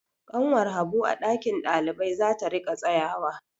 Ƙanwar Habu a ɗakin ɗalibai za ta riƙa tsayawa.